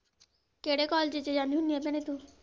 ਕਿਹੜੇ college ਚ ਜਾਣੀ ਹੁੰਨੀ ਆ ਭੈਣੇ ਤੂੰ?